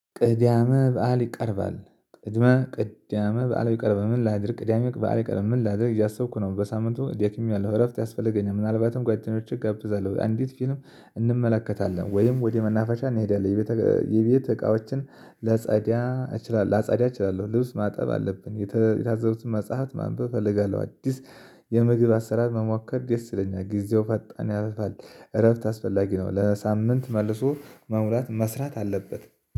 ቅዳመ በዓል ይቀርባል። ቅድመ ቅዳመ በዓል ይቀርባል። ምን ላድርግ? ቅዳሜ በዓል ይቀርባል። ምን ላድርግ እያሰብኩ ነው። በሳምንቱ ደክሜያለሁ። እረፍት ያስፈልገኛል፤ ምናልባትም ጓደኞቼ እጋብዛለሁ። አንዴት ፊልም እንመለከታለን። ወይም ወደ መናፈሻ እንሄዳለን። የቤት የቤት እቃዎችን ለጸዳ እችላለሁ። ለጸዳ እችላለሁ። ልብስ ማጠብ አለብን። የታዘዙትን መጽሐፍ ማንበብ እፈልጋለሁ። አዲስ የምግብ አሰራር መሞከር ደስ ይለኛል። ጊዜው ፈጣን ያርፋል። እረፍት አስፈላጊ ነው። ለሳምንት መልሶ መሙላት መስራት አለበት።